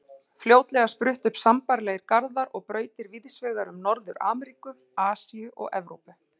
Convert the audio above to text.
Fljótlega spruttu upp sambærilegir garðar og brautir víðs vegar um Norður-Ameríku, Asíu og Evrópu.